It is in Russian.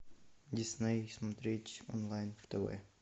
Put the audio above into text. дисней смотреть онлайн тв